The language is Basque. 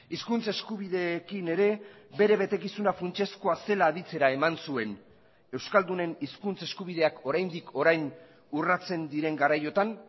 hizkuntz eskubideekin ere bere betekizuna funtsezkoa zela aditzera eman zuen euskaldunen hizkuntz eskubideak oraindik orain urratzen diren garaiotan